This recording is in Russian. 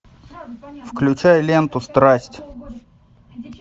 включай ленту страсть